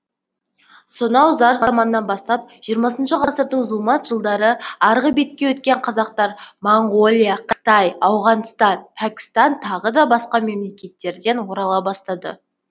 сонау зар заманнан бастап жиырмасыншы ғасырдың зұлмат жылдары арғы бетке өткен қазақтар моңғолия қытай ауғанстан пәкістан тағы да басқа мемлекеттерден орала бастады